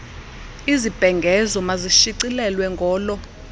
izibhengezo mazishicilelwe ngolo